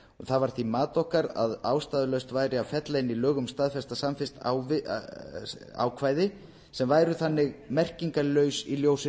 það var því mat okkar að ástæðulaust væri að fella inn í lög um staðfesta samvist ákvæði sem væru þannig merkingarlaus í ljósi